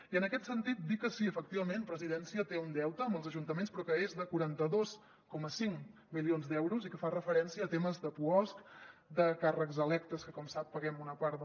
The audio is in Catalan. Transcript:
i en aquest sentit dir que sí efectivament presidència té un deute amb els ajuntaments però que és de quaranta dos coma cinc milions d’euros i que fa referència a temes de puosc de càrrecs electes que com sap paguem una part